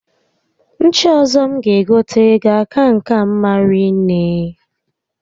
Ncha ọzọ m ga egote ga-aka nke a mma rinne